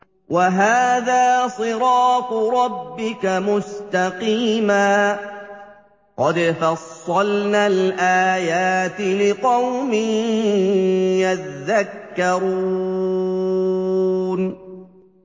وَهَٰذَا صِرَاطُ رَبِّكَ مُسْتَقِيمًا ۗ قَدْ فَصَّلْنَا الْآيَاتِ لِقَوْمٍ يَذَّكَّرُونَ